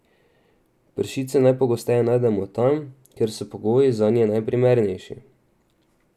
Pršice najpogosteje najdemo tam, kjer so pogoji zanje najprimernejši.